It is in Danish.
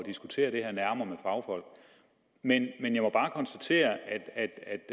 diskutere det her nærmere med fagfolk men jeg må bare konstatere at